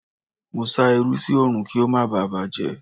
Mo sá irú sí Òòrùn kí ó má baà bàjẹ́.